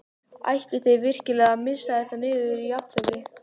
Ætlið þið virkilega að missa þetta niður í jafntefli?